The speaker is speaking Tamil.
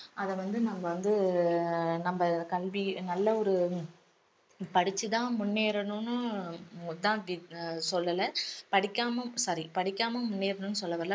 அத வந்து நம்ம வந்து நம்ம கல்வி நல்ல ஒரு படிச்சு தான் முன்னேறணும்னு தான் அப்படி சொல்லல படிக்காம sorry படிக்காம் முன்னேறணும்னு சொல்ல வரல